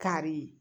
Kari